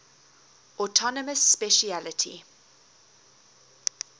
autonomous specialty